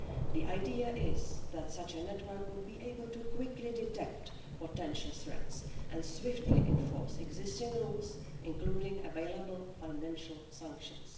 The idea is that such a network would be able to quickly detect potential threats and swiftly enforce existing rules, including available financial sanctions.